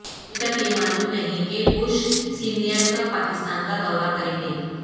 ابھی تک یہ معلوم نہیں کہ بش سینیئر کب پاکستان کا دورہ کریں گے